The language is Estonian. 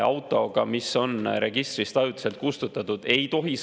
Autoga, mis on registrist ajutiselt kustutatud, ei tohi sõita.